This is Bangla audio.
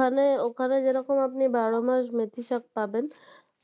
ওখানে ওখানে যেরকম আপনি বারোমাস মেথিশাঁক পাবেন